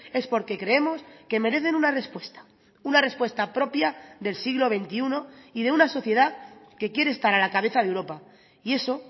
es porque creemos que merecen una respuesta una respuesta propia del siglo veintiuno y de una sociedad que quiere estar a la cabeza de europa y eso